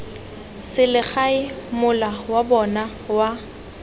selegae mola wa bona wa